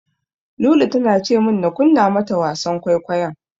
Lulu tana ce min na kunna mata wasan kwaikwayon.